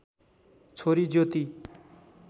छोरी ज्योति